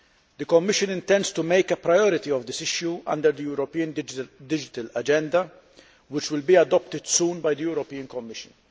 The Commission intends to make a priority of this issue under the European Digital Agenda which will be adopted soon by the European Commission.